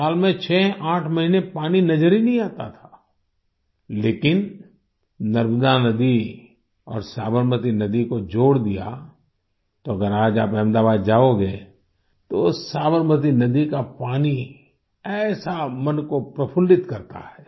साल में 68 महीने पानी नजर ही नहीं आता था लेकिन नर्मदा नदी और साबरमती नदी को जोड़ दिया तो अगर आज आप अहमदाबाद जाओगे तो साबरमती नदी का पानी ऐसा मन को प्रफुल्लित करता है